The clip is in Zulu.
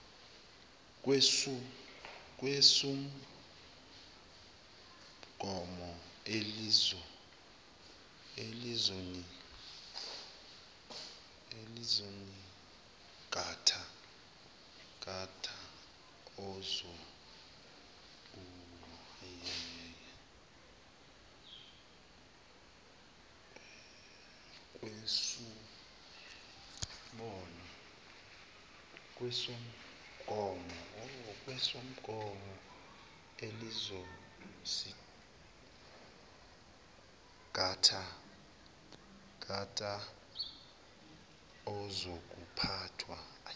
kwesumgomo elizosingatha ezokuphathwa